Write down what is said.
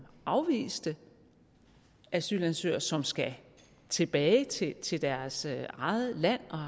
afviste asylansøgere som skal tilbage til til deres eget land og